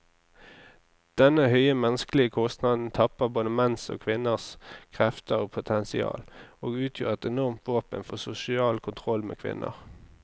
Denne høye menneskelige kostnaden tapper både menns og kvinners krefter og potensial, og utgjør et enormt våpen for sosial kontroll med kvinner.